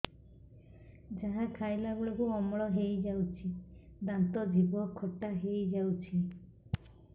ଯାହା ଖାଇଲା ବେଳକୁ ଅମ୍ଳ ହେଇଯାଉଛି ଦାନ୍ତ ଜିଭ ଖଟା ହେଇଯାଉଛି